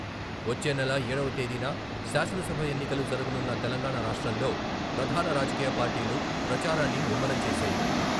వచ్చే నెల ఏడవ తేదీన శాసన సభ ఎన్నికలు జరగనున్న తెలంగాణ రాష్ట్రంలో ప్రధాన రాజకీయ పార్టీలు ప్రచారాన్ని ముమ్మరం చేశాయి.